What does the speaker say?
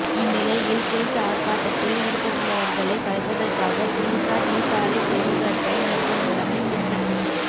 இந்நிலையில் குறித்த ஆர்ப்பாட்டதில் ஈடுபட்டுள்ளவர்களை கலைப்பதற்காக பொலிஸார் நீர்த்தாரைப் பிரயோகத்தை மேற்கொண்டுள்ளமை குறிப்பிடத்தக்கது